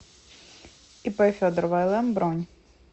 ип федорова лм бронь